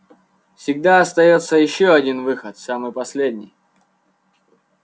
всегда остаётся ещё один выход самый последний